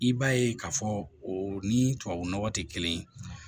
I b'a ye k'a fɔ o ni tubabu nɔgɔ tɛ kelen ye